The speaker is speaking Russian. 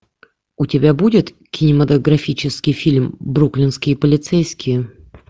у тебя будет кинематографический фильм бруклинские полицейские